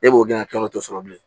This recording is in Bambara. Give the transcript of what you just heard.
E b'o gilan kilan o t'o sɔrɔ bilen